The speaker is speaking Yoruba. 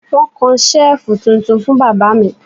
Wọ́n kan Ṣẹ́ẹ̀fù tuntun fún bàbá mi